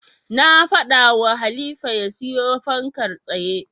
Na faɗawa Halifa ya siyo fankar tsaye.